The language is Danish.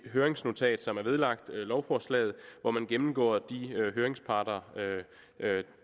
høringsnotat som er vedlagt lovforslaget hvor man gennemgår de høringssvar